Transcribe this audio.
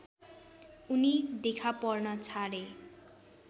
उनी देखापर्न छाडे